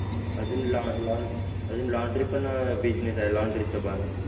अजून laun laun laundry पण business आहे laundry चा पण